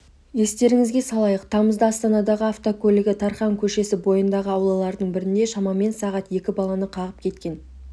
естеріңізге салайық тамызда астанадағы автокөлігі тархан көшесі бойындағы аулалардың бірінде шамамен сағат екі баланы қағып кеткен